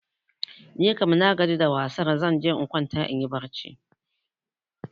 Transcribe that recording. Nikam nagaji da wasar, zan je in kwanta inyi barci.